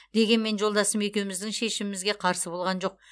дегенмен жолдасым екеуміздің шешімімізге қарсы болған жоқ